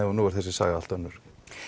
nú er þessi saga allt önnur